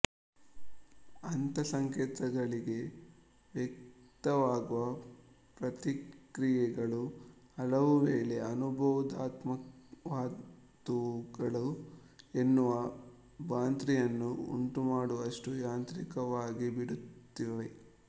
ಅಂಥ ಸಂಕೇತಗಳಿಗೆ ವ್ಯಕ್ತವಾಗುವ ಪ್ರತಿಕ್ರಿಯೆಗಳು ಹಲವು ವೇಳೆ ಅನುಬೋಧಾತ್ಮಕವಾದುವುಗಳು ಎನ್ನುವ ಭ್ರಾಂತಿಯನ್ನು ಉಂಟುಮಾಡುವಷ್ಟು ಯಾಂತ್ರಿಕವಾಗಿಬಿಡುತ್ತವೆ